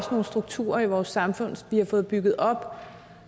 nogle strukturer i vores samfund som vi har fået bygget op og